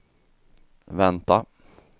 vänta